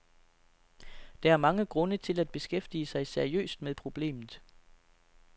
Der er mange grunde til at beskæftige sig seriøst med problemet.